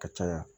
Ka caya